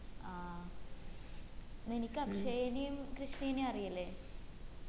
ആ നിനിക്ക് അക്ഷയേനും കൃഷ്ണേനും അറിയില്ലേ